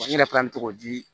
N yɛrɛ fana bɛ togo di